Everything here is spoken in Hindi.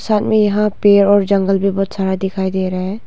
साथ में यहां पेर और जंगल भी बहोत सारा दिखाई दे रहा है।